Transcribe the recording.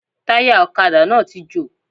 Táyà òkadà náà ti jò